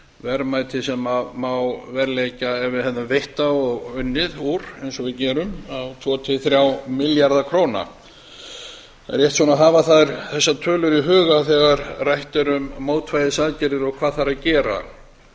verðmætið sem má verðleggja ef við hefðum veitt það og unnið úr eins og við gerum á tvo til þrjá milljarða króna það er rétt að hafa þessar tölur í huga þegar rætt er um mótvægisaðgerðir og hvað þarf að gera